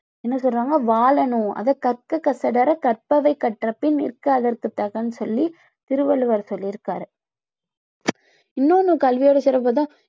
என்ன சொல்றாங்க வாழனும் அதை கற்க கசடற கற்பவை கற்றபின் நிற்க அதற்கு தகன்னு சொல்லி திருவள்ளுவர் சொல்லி இருக்காரு இன்ணொண்ணு கல்வியோட சிறப்பு பாத்தா